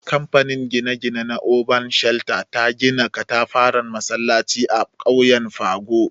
Kamfanin gine-gine na Urban Shelter, ta gina katafaren masallaci a ƙauyen Pago.